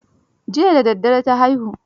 Jiya da daddare ta haihu.